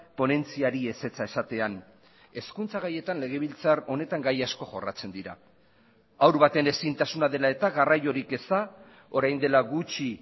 ponentziari ezetza esatean hezkuntza gaietan legebiltzar honetan gai asko jorratzen dira haur baten ezintasuna dela eta garraiorik eza orain dela gutxi